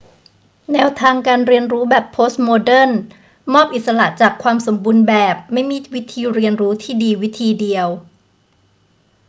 แนวทางการเรียนรู้แบบโพสต์โมเดิร์นมอบอิสระจากความสมบูรณ์แบบ ไม่มีวิธีเรียนรู้ที่ดีวิธีเดียว